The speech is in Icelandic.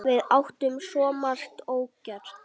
Við áttum svo margt ógert.